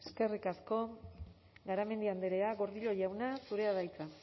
eskerrik asko garamendi andrea gordillo jauna zurea da hitza